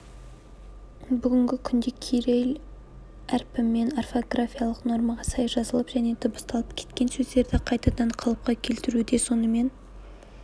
бүгінгі күнде кирилл әрпімен орфографиялық нормаға сай жазылып және дыбысталып кеткен сөздерді қайтадан қалыпқа келтіруде сонымен